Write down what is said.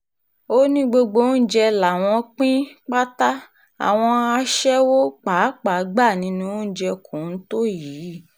ó ní gbogbo oúnjẹ làwọn pín pátá àwọn aṣẹ́wó pàápàá gbà nínú oúnjẹ kóńtó yìí